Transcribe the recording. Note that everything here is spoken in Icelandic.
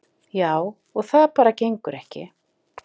Já, og það bara gengur ekki.